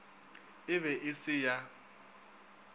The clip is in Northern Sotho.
e be e se ya